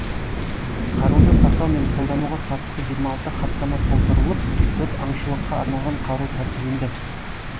қаруды сақтау мен қолдануға қатысты жиырма алты хаттама толтырылып төрт аңшылыққа арналған қару тәркіленді